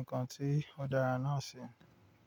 ǹkan tí ó dára náà ṣi.